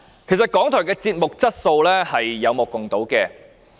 事實上，港台電視節目的質素是有目共睹的。